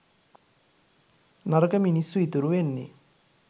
නරක මිනිස්සු ඉතුරු වෙන්නේ